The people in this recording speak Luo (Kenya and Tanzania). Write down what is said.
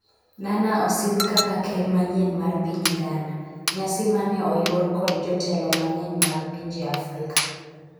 Nana osidh kaka ker manyien mar piny Ghana ,nyasi mane mane oyuor kod jotelo mang'eny mag pinje Afrika